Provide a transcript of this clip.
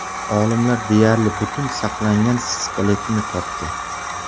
Olimlar deyarli butun saqlangan skeletni topdi.